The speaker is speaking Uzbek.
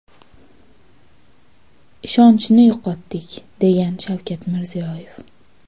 Ishonchni yo‘qotdik”, degan Shavkat Mirziyoyev.